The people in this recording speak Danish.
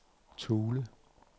Thule